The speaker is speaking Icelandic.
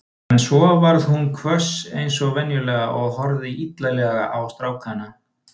En svo varð hún hvöss eins og venjulega og horfði illilega á strákana.